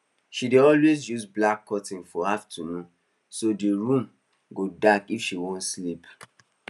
she dey always use black curtains for afternoon so d room go dark if she wan sleep